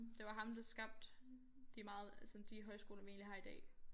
Det var ham der skabte de meget altså sådan de højskoler vi egentlig har i dag